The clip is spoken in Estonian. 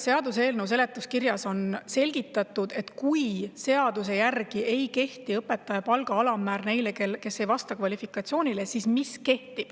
Seaduseelnõu seletuskirjas on selgitatud, mis kehtib neile, kes ei vasta kvalifikatsioonile ja kellele seaduse järgi ei kehti õpetaja palga alammäär.